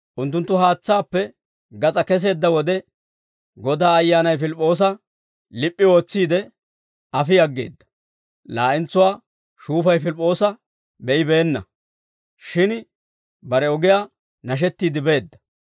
Unttunttu haatsaappe gas'aa keseedda wode, Godaa Ayyaanay Pilip'p'oosa lip'p'i ootsiide, afi aggeedda; laa'entsuwaa shuufay Pilip'p'oosa be'ibeenna; shin bare ogiyaa nashettiide beedda.